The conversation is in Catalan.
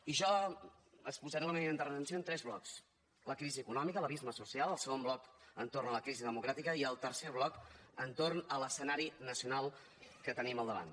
i jo exposaré la meva intervenció en tres blocs la crisi econòmica l’abisme social el segon bloc entorn de la crisi democràtica i el tercer bloc entorn de l’escenari nacional que tenim al davant